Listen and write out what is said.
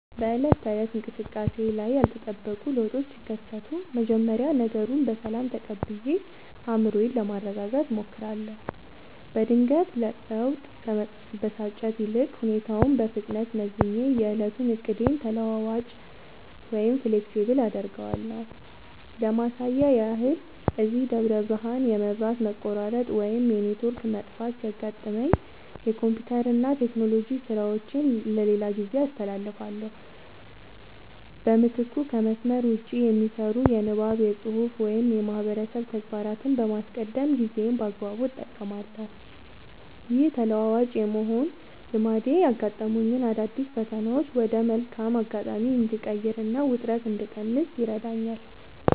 በዕለት ተዕለት እንቅስቃሴዬ ላይ ያልተጠበቁ ለውጦች ሲከሰቱ፣ መጀመሪያ ነገሩን በሰላም ተቀብዬ አእምሮዬን ለማረጋጋት እሞክራለሁ። በድንገተኛ ለውጥ ከመበሳጨት ይልቅ፣ ሁኔታውን በፍጥነት መዝኜ የዕለቱን ዕቅዴን ተለዋዋጭ (Flexible) አደርገዋለሁ። ለማሳያ ያህል፣ እዚህ ደብረ ብርሃን የመብራት መቆራረጥ ወይም የኔትወርክ መጥፋት ሲያጋጥመኝ፣ የኮምፒውተርና የቴክኖሎጂ ሥራዎቼን ለሌላ ጊዜ አስተላልፋለሁ። በምትኩ ከመስመር ውጭ (Offline) የሚሰሩ የንባብ፣ የፅሁፍ ወይም የማህበረሰብ ተግባራትን በማስቀደም ጊዜዬን በአግባቡ እጠቀማለሁ። ይህ ተለዋዋጭ የመሆን ልማዴ ያጋጠሙኝን አዳዲስ ፈተናዎች ወደ መልካም አጋጣሚ እንድቀይርና ውጥረት እንድቀንስ ይረዳኛል።